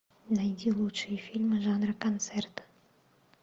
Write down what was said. найди лучшие фильмы жанра концерт